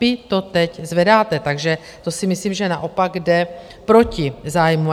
Vy to teď zvedáte, takže to si myslím, že naopak jde proti zájmu.